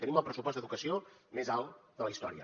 tenim el pressupost d’educació més alt de la història